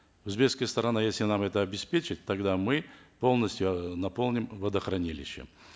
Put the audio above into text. узбекская сторона если нам это обеспечит тогда мы полностью э наполним водохранилище